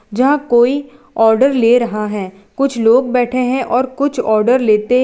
यहां कोई आर्डर ले रहा है कुछ लोग बैठे हैं और कुछ आर्डर लेते --